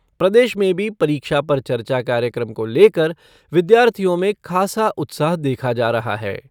प्रदेश में भी परीक्षा पर चर्चा कार्यक्रम को लेकर विद्यार्थियों में खासा उत्साह देखा जा रहा है।